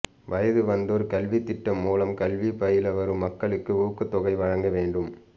வயது வந்தோர் கல்வி திட்டம் மூலம் கல்வி பயில வரும் மக்களுக்கு ஊக்கத்தொகை வழங்க வேண்டும்